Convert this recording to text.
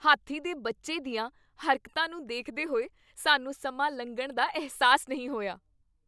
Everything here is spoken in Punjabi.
ਹਾਥੀ ਦੇ ਬੱਚੇ ਦੀਆਂ ਹਰਕਤਾਂ ਨੂੰ ਦੇਖਦੇ ਹੋਏ ਸਾਨੂੰ ਸਮਾਂ ਲੰਘਣ ਦਾ ਅਹਿਸਾਸ ਨਹੀਂ ਹੋਇਆ।